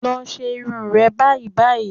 Lọ ṣe irun rẹ báyìí báyìí